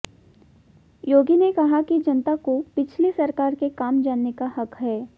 योगी ने कहा कि जनता को पिछली सरकार के काम जानने का हक है